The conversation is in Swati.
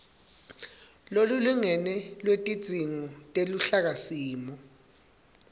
lolulingene lwetidzingo teluhlakasimo